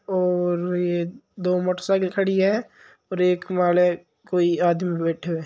और ये दो मोटरसाइकिल खड़ी है और एक वाले कोई आदमी बैठयो है।